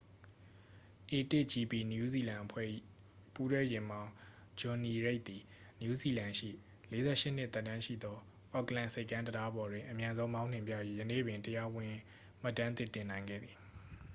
a1gp နယူးဇီလန်အဖွဲ့၏ ပူးတွဲယာဉ်မောင်း ဂျွန်နီရိတ်သည် နယူးဇီလန်ရှိ 48 နှစ် သက်တမ်းရှိသော အော့ကလန်ဆိပ်ကမ်းတံတားပေါ်တွင် အမြန်ဆုံးမောင်းနှင်ပြ၍ ယနေ့ပင် တရားဝင် မှတ်တမ်းသစ် တင်နိုင်ခဲ့သည်